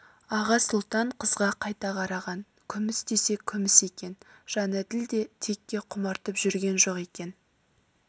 аға сұлтан қызға қайта қараған күміс десе күміс екен жәнәділ де текке құмартып жүрген жоқ екен